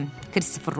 Kristofer Robin dedi.